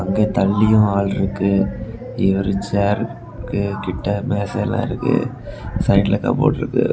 இங்க தள்ளியு ஆள் இருக்கு இவர் செருக்கு கிட்ட மேசல இருக்கு சைடுல கப்போர்ட் இருக்கு.